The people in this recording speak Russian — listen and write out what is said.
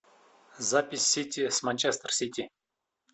запись сити с манчестер сити